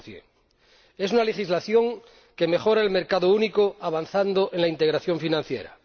30 Es una legislación que mejora el mercado único, avanzando en la integración financiera.